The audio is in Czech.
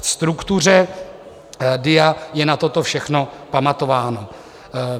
Ve struktuře DIA je na toto všechno pamatováno.